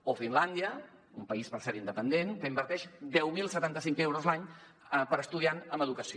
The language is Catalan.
o finlàndia un país per cert independent que inverteix deu mil setanta cinc euros l’any per estudiant en educació